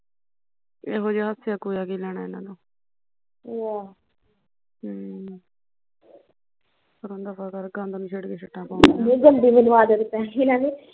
ਇਹੋ ਜਿਹਾ ਹੱਸਿਆ ਕਹੋਇਆ ਕੀ ਲੈਣ ਇਹਨਾਂ ਤੋਂ ਹਮ ਅਵੇ ਗੰਦ ਨੂੰ ਛੇੜ ਕੇ ਛਿੱਟਾ ਪਵਾ